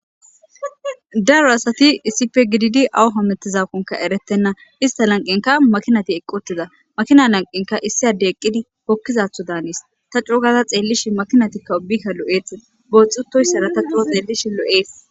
daro asati issife gididi awu ho mettizakonka eretenna ista lanqinka makinati eqqotiza makina lanqinka issi adde eqqidi hokkizatho daanis ta cugaza xeellishi makinatikka ubika lo7eete booxxutoyssara ta xuro xeellish lo7ees